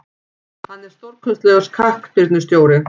Hann er stórkostlegur knattspyrnustjóri.